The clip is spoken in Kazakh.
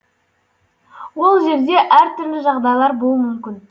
ол жерде әртүрлі жағдайлар болуы мүмкін